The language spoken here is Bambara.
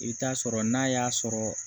I bɛ taa sɔrɔ n'a y'a sɔrɔ